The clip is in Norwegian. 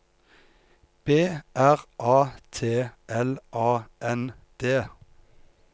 B R A T L A N D